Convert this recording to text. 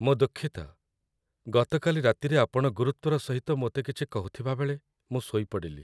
ମୁଁ ଦୁଃଖିତ, ଗତକାଲି ରାତିରେ ଆପଣ ଗୁରୁତ୍ଵର ସହିତ ମୋତେ କିଛି କହୁଥିବାବେଳେ ମୁଁ ଶୋଇପଡ଼ିଲି।